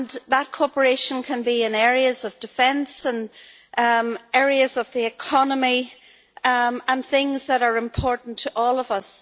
That cooperation can be in areas of defence, areas of the economy and things that are important to all of us.